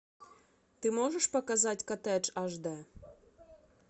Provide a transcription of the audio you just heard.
ты можешь показать коттедж аш д